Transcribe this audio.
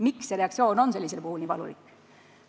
Miks nende reaktsioon on sellisel puhul nii valulik?